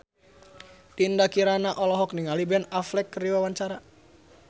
Dinda Kirana olohok ningali Ben Affleck keur diwawancara